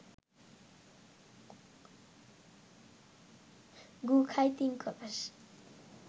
গু খায় তিন কলস